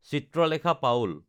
Chitralekha Paul